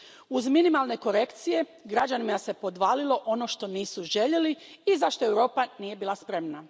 Uz minimalne korekcije, građanima se podvalilo ono što nisu željeli i za što Europa nije bila spremna.